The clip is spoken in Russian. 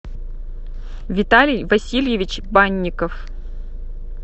виталий васильевич банников